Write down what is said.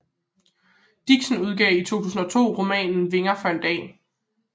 Dixen udgav i 2002 romanen Vinger for en dag